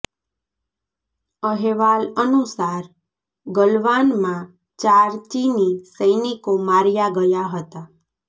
અહેવાલ અનુસાર ગલવાનમાં ચાર ચીની સૈનિકો માર્યા ગયા હતા